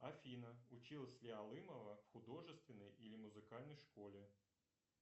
афина училась ли алымова в художественной или музыкальной школе